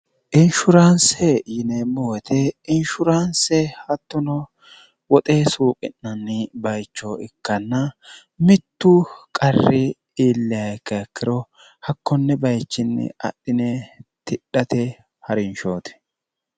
inshuraanse yineemmoote inshuraanse hattono woxe suuphi'nanni bayicho ikkanna mittu qarri iillakakkiro hakkonni bayichinni adhine tidhate ha'rinshooti